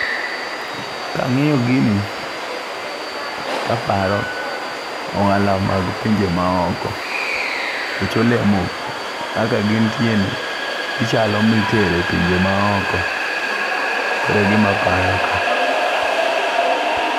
Kang'iyo gini taparo ohala mag pinje maoko nikech olemo kaka gintie ni gichalo mitere pinje maoko, kore gima paro ka.